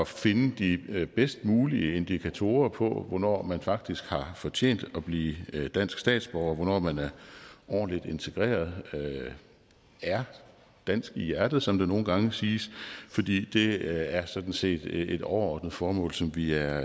finde de bedst mulige indikatorer på hvornår man faktisk har fortjent at blive dansk statsborger hvornår man er ordentligt integreret er dansk i hjertet som der nogle gange siges fordi det er sådan set et overordnet formål som vi er